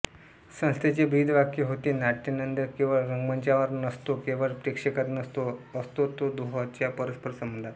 संस्थेचे ब्रीदवाक्य होते नाट्यानंद केवळ रंगमंचावर नसतो केवळ प्रेक्षकात नसतो असतो तो दोहोंच्या परस्पर संबंधात